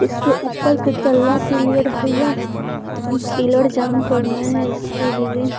इसके ऊपर के तल्ला के लिए ढलैया पिल्लर जाम करना है इसके लिए।